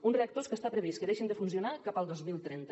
uns reactors que està previst que deixin de funcionar cap al dos mil trenta